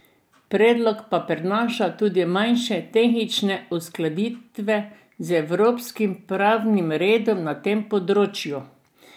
Predlog pa prinaša tudi manjše tehnične uskladitve z evropskim pravnim redom na tem področju.